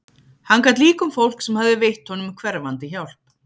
Hann gat líka um fólk sem hafði veitt honum hverfandi hjálp.